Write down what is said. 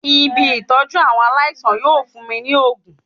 Ibi Ìtọ́jú àwọn aláìsàn yóò fún mi ní ògùn.